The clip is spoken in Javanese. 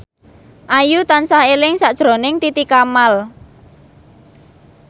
Ayu tansah eling sakjroning Titi Kamal